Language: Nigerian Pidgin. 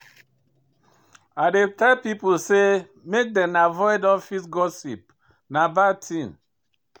I dey tell pipo sey make dem avoid office gossip, na bad tin.